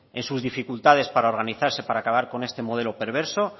en sus dificultades para organizarse para acabar con este modelo perverso